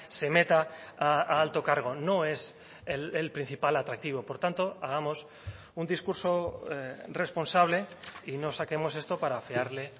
se meta a alto cargo no es el principal atractivo por tanto hagamos un discurso responsable y no saquemos esto para afearle